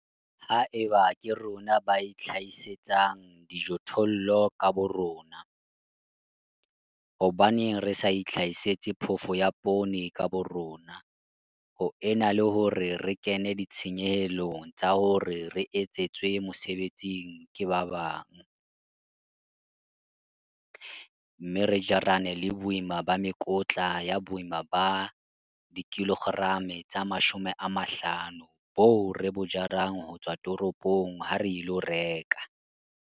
Ha eba ke rona ba itlhahisetsang dijothollo ka borona, hobaneng re sa itlhahisetse phofo ya poone ka borona ho ena le hore re kene ditshenyehelong tsa hore re etsetswe mosebetsing ke ba bang, mme re jarane le boima ba mekotla ya boima ba 50 kg boo re bo jarang ho tswa toropong ha re ilo reka?